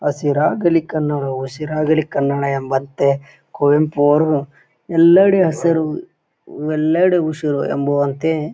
ಹಸಿರಾಗಲಿ ಕನ್ನಡವು ಉಸಿರಾಗಲಿ ಕನ್ನಡವು ಎಂಬಂತೆ ಕುವೆಂಪು ಅವರು ಎಲ್ಲಡೆ ಹಸಿರು ಎಲ್ಲಡೆ ಉಸಿರು ಎಂಬುವಂತೆ--